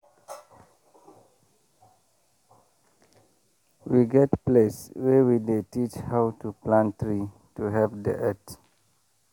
we get place wey we dey teach how to plant tree to help the earth.